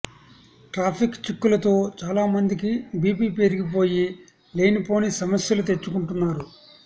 traffic చిక్కులతో చాల మందికి బీపీ పెరిగిపోయి లేనిపోని సమస్యలు తెచ్చుకుంటున్నారు